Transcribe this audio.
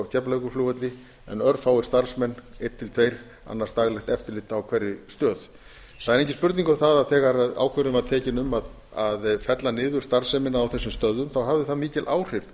keflavíkurflugvelli en örfáir starfsmenn eins til tveggja annast daglegt eftirlit á hverri stöð það er engin spurning um það að þegar ákvörðun var tekin um að fella niður starfsemina á þessum stöðvum þá hafði það mikil áhrif